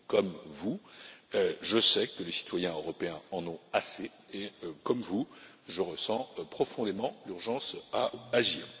Comme vous, je sais que les citoyens européens en ont assez et, comme vous, je ressens profondément l'urgence d'agir.